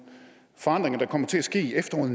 forandringer der kommer til at ske i efteråret